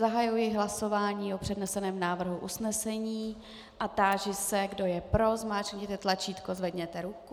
Zahajuji hlasování o předneseném návrhu usnesení a táži se, kdo je pro, zmáčkněte tlačítko, zvedněte ruku.